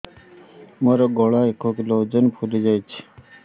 ମୋ ଗଳା ଏକ କିଲୋ ଓଜନ ଫୁଲି ଯାଉଛି